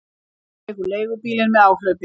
Hann tekur leigubílinn með áhlaupi.